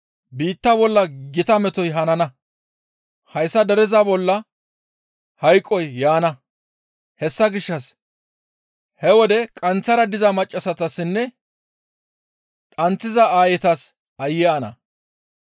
Biitta bolla gita metoy hanana; hayssa dereza bolla hanqoy yaana; hessa gishshas he wode qanththara diza maccassatassinne dhanththiza aayetas aayye ana!